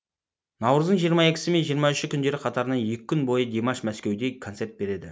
наурыздың жиырма екісі мен жиырма үші күндері қатарынан екі күн бойы димаш мәскеуде концерт береді